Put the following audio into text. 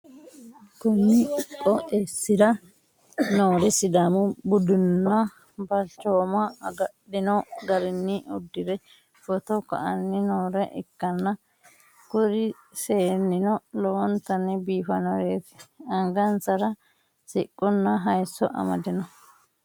konni qooxxeessi'ra noori sidaamu nudenna balchooma agadhi'no garinni uddi're footo ka'anni noore ikkanna, kuri seennino lowontanni biifannoreeti, angasara siqqonna hayisso amade no.